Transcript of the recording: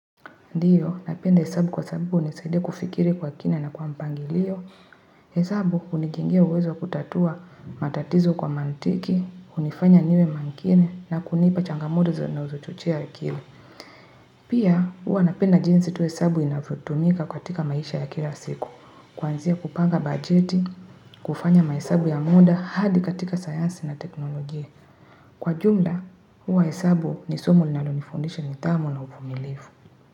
Ndiyo, napenda hesabu kwa sababu hunisaidia kufikiri kwa kina na kwa mpangilio. Hesabu hunijengia uwezo wa kutatua matatizo kwa mantiki, hunifanya niwe makini na kunipa changamoto zinazochochea akili. Pia, hua napenda jinsi tu hesabu inavyotumika katika maisha ya kila siku. Kuanzia kupanga bajeti, kufanya mahesabu ya muda hadi katika sayansi na teknolojia. Kwa jumla, hua hesabu ni somo linalonifundisha nidhamu na uvumilivu.